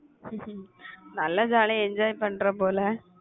உம் நல்லா jolly ஆ enjoy பண்ற போல